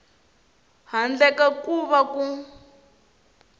handle ka ku va ku